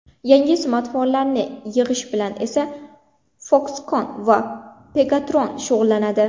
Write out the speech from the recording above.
Yangi smartfonlarni yig‘ish bilan esa Foxconn va Pegatron shug‘ullanadi.